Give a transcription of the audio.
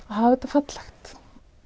hafa þetta fallegt